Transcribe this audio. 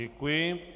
Děkuji.